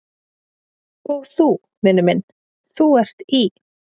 Og þú, vinur minn, ÞÚ ERT Í